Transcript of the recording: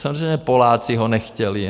Samozřejmě Poláci ho nechtěli.